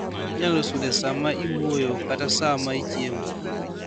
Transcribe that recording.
Inyalo sude saa ma iwuoyo kata saa ma ichiemo.